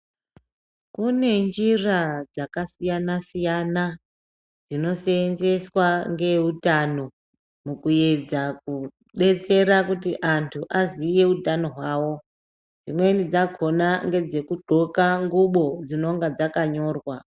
Kune njira dzakasiyana siyana dzinoseenzeswa ngeeutano mukuedza kudetsera kuti antu aziye utano hwavo. Dzimweni dzakona ngedzekudxoka nxubo dzinonga dzakanyorwa.